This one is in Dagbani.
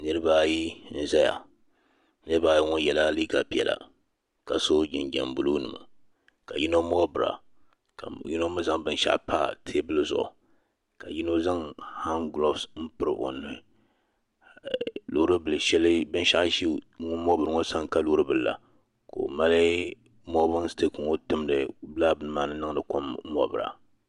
Niriba ayi n zaya niriba ayi ŋɔ yela liiga piɛla ka so jinjiɛm buluu nima ka yino moobira ka yino mee zaŋ binshaɣu pa teebuli zuɣu ka yino zaŋ han gilof m piri o nuhi binshaɣu ʒɛ ŋun moobira ŋɔ sani ka loori bila la ka o mali moobin sitik ŋɔ timdi lala bini maa ni n niŋdi kom moobira.